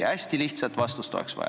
Hästi selget vastust oleks vaja.